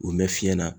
U mɛn fiɲɛ na